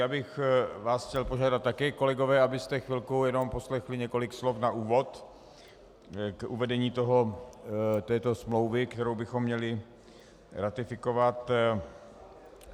Já bych vás chtěl požádat také kolegové, abyste chvilku jenom poslechli několik slov na úvod k uvedení této smlouvy, kterou bychom měli ratifikovat.